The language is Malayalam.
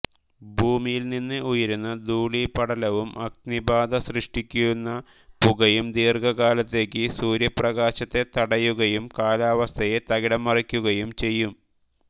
ഭൂമിയിൽനിന്ന് ഉയരുന്ന ധൂളീപടലവും അഗ്നിബാധ സൃഷ്ടിക്കുന്ന പുകയും ദീർഘകാലത്തേക്ക് സൂര്യപ്രകാശത്തെ തടയുകയും കാലാവസ്ഥയെ തകിടം മറിക്കുകയും ചെയ്യും